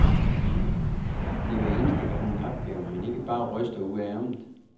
Det er hver eneste gang en opgave, man ikke bare ryster ud af ærmet.